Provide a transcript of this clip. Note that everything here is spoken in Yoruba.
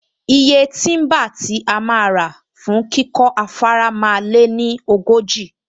Iye tíḿbà tí a máa rà fún kíkọ́ afárá máa lé ní ogójì